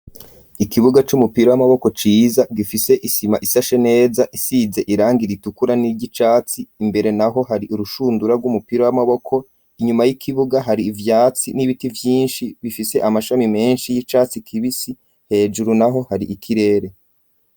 Ikibuga c'umupira w'amaboko ciza gifise isima isashe neza isize irangi ritukura niry'icatsi imbere naho hari urushundura rw'umupira w'amaboko inyuma y'ikibuga hari ivyatsi n'ibiti vyinshi bifise amashami menshi y'icatsi kibisi hejuru naho hari ikirere.